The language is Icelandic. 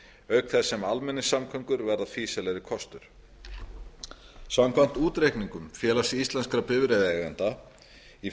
auk þess sem almenningssamgöngur verða fýsilegri kostur samkvæmt útreikningum félags íslenskra bifreiðaeigenda í